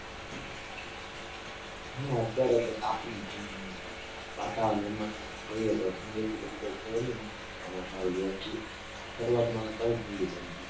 હા અત્યારે તો તાપમાન પ્રમાણે હોય છે વાતાવરણ પ્રમાણે જોઈએ તો અત્યારે એટલી બધી કઈ છે ની હમણાં ત્રણ દિવસ થી સરુઆત માં તો ઘણી ઠંડી પડી.